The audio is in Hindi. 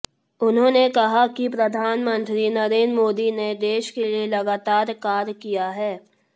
उन्होंने कहा कि प्रधानमंत्री नरेंद्र मोदी ने देश के लिए लगातार कार्य किया है